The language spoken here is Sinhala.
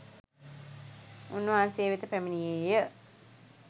උන්වහන්සේ වෙත පැමිණියේය.